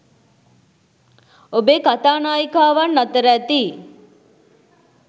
ඔබේ කතා නායිකාවන් අතර ඇති